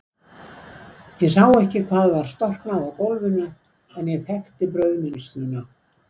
Ég sá ekki hvað var storknað á gólfinu, en ég þekkti brauðmylsnuna.